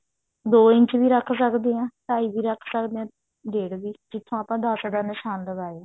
ਦੋ ਇੰਚ ਵੀ ਰੱਖ ਸਕਦੇ ਹਾਂ ਢਾਈ ਵੀ ਰੱਖ ਸਕਦੇ ਹਾਂ ਡੇਢ ਵੀ ਜਿੱਥੋਂ ਆਪਾਂ ਦਸ ਦਾ ਨਿਸ਼ਾਨ ਲਗਾਇਆ